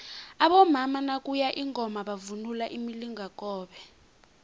abomama nakuye ingoma bavunula imilingakobe